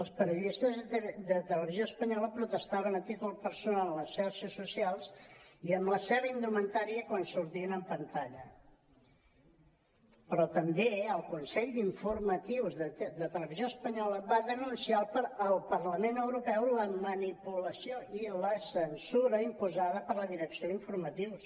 els periodistes de televisió espanyola protestaven a títol personal a les xarxes socials i amb la seva indumentària quan sortien en pan·talla però també el consell d’informatius de televisió espanyola va denunciar al parlament europeu la manipulació i la censura imposada per la direcció d’informa·tius